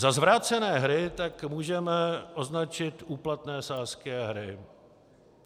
Za zvrácené hry tak můžeme označit úplatné sázky a hry.